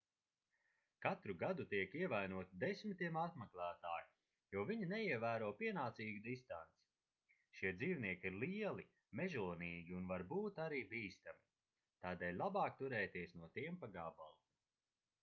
katru gadu tiek ievainoti desmitiem apmeklētāju jo viņi neievēro pienācīgu distanci šie dzīvnieki ir lieli mežonīgi un var būt arī bīstami tādēļ labāk turēties no tiem pa gabalu